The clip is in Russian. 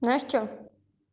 знаешь что